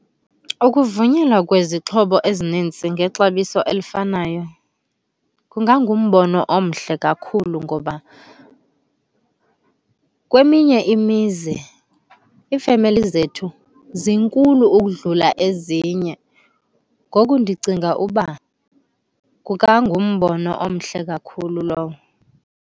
Ukuvunyelwa kwezixhobo ezininzi ngexabiso elifanayo kungangumbono omhle kakhulu, ngoba kweminye imizi iifemeli zethu zinkulu ukudlula ezinye. Ngoku ndicinga uba kungangumbono omhle kakhulu lowo.